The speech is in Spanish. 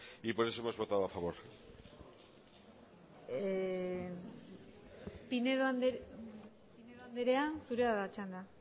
y por eso hemos votado a favor pinedo andrea zurea da txanda